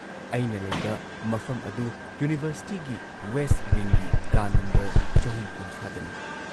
ꯑꯩꯅ ꯂꯩꯕ ꯃꯐꯝ ꯑꯗꯨ ꯌꯨꯅꯤꯚꯔꯁꯤꯇꯤꯒꯤ ꯋꯦꯁꯠ ꯋꯤꯡꯒꯤ ꯀꯥ ꯅꯝꯕꯔ ꯆꯍꯨꯝꯀꯨꯟꯊ꯭ꯔꯥꯗꯅꯤ ꯫